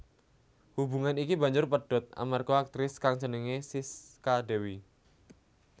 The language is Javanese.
Hubungan iki banjur pedhot amarga aktris kang jenengé Sisca Dewi